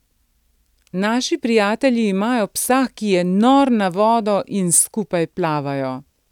Naši prijatelji imajo psa, ki je nor na vodo in skupaj plavajo.